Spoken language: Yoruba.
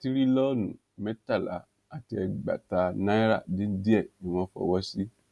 tìrìlónú mẹ́tàlá àti ẹgbẹ̀ta náírà dín díẹ̀ ni wọ́n fọwọ́ sí